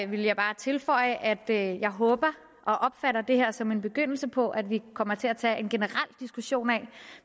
vil jeg bare tilføje at jeg håber og opfatter det her som en begyndelse på at vi kommer til at tage en generel diskussion af